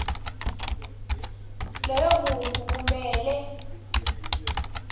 loyo muntfu kumele